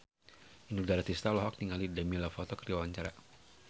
Inul Daratista olohok ningali Demi Lovato keur diwawancara